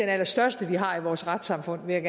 allerstørste vi har i vores retssamfund vil jeg